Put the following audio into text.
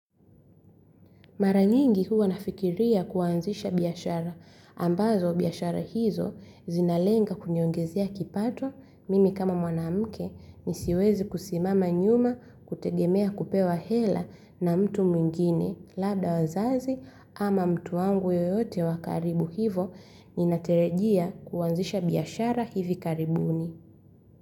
Mara nyingi huwa nafikiria kuanzisha biashara. Ambazo biashara hizo zinalenga kuniongezea kipato, mimi kama mwanamke nisiweze kusimama nyuma kutegemea kupewa hela na mtu mwingine, labda wazazi ama mtu wangu yeyote wa karibu. Hivo ninatarajia kuanzisha biashara hivi karibuni.